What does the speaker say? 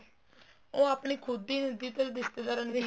ਉਹ ਆਪਣੀ ਖੁੱਦ ਦੀ ਰਿਸ਼ਤੇਦਾਰਾ